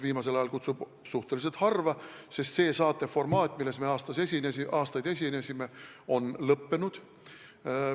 Viimasel ajal kutsub ta mind suhteliselt harva, sest see saateformaat, milles me aastaid osalesime, on lõppenud.